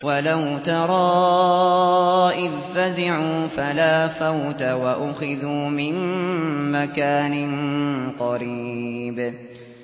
وَلَوْ تَرَىٰ إِذْ فَزِعُوا فَلَا فَوْتَ وَأُخِذُوا مِن مَّكَانٍ قَرِيبٍ